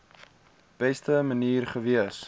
beste manier gewees